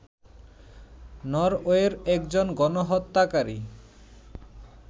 নরওয়ের একজন গণহত্যাকারী